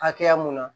Hakɛya mun na